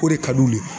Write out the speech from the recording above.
O de ka d'u ye